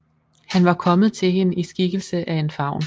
Han var kommet til hende i skikkelse af en faun